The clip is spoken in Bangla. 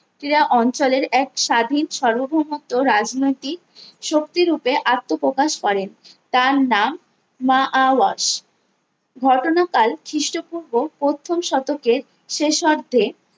এরা অঞ্চলের এক স্বাধীন সার্বভৌমত্ব রাজনৈতিক শক্তিরূপে আত্মপ্রকাশ করেন তার নাম মাআওয়াশ ঘটনাকাল খিষ্টপূর্ব প্রথম শতকের শেষার্ধে